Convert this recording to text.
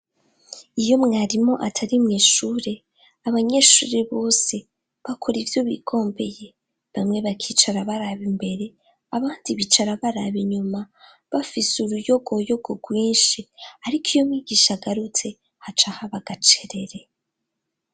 Iyo mwarimu atari mw'ishure, abanyeshure bose bakora ivyo bigombeye, bamwe bakicara baraba imbere abandi bicara baraba inyuma bafise uruyogoyogo rwinshi, ariko iyo mwigisha agarutse haca haba agacerere.